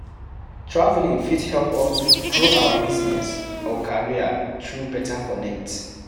Travelling fit help us grow our business or career through beta connect